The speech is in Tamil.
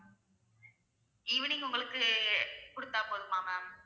evening உங்களுக்கு குடுத்தா போதுமா ma'am